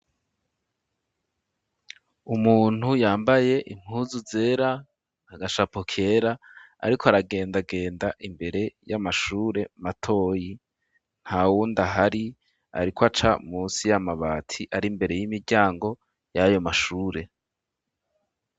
Umuntu yambaye impuzu zera agashapo kera ariko aragendagenda imbere y'amashure matoyi ntawundi ahari ariko aca musi y'amabati ari mbere y'imiryango yayo mashure.